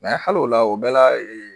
hali o la o bɛɛ la